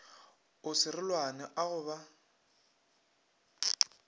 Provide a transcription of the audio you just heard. a serolwane a go ba